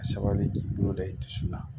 A sabali bi boloda i dusu la